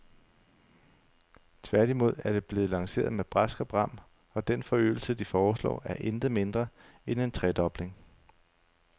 Tværtimod er det blevet lanceret med brask og bram, og den forøgelse, de foreslår, er intet mindre end en tredobling.